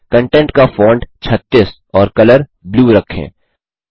content का font 36 और colour blue रखें